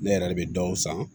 Ne yɛrɛ de bɛ dɔw san